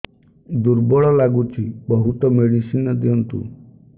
ଦୁର୍ବଳ ଲାଗୁଚି ବହୁତ ମେଡିସିନ ଦିଅନ୍ତୁ